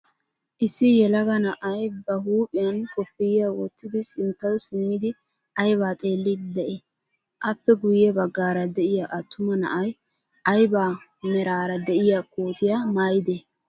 Issi yelaga na'ay ba huuphphiyaan kopiyyaa wottidi sinttaw simmidi aybaa xeelliidi de'ii? appe guyye baggara de'iyaa attuma na'ay ayba meraara de'iyaa kootiyaa mayidee?